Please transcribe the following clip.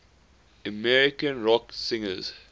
american rock singers